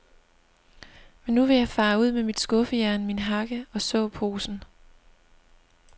Men nu vil jeg fare ud med mit skuffejern, min hakke og såposen.